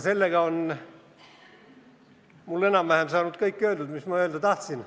Sellega on mul öeldud enam-vähem kõik, mis ma öeldi tahtsin.